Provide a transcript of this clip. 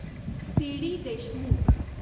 C D Deshmukh